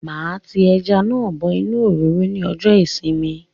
Máa tí ẹja náà bọ inú òróró ní ọjọ ìsinmi